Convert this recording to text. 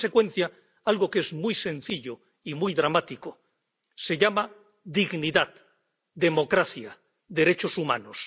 En consecuencia, algo que es muy sencillo y muy dramático se llama dignidad, democracia, derechos humanos.